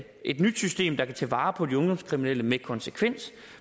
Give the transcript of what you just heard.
et nyt system der kan tage vare på de ungdomskriminelle med konsekvens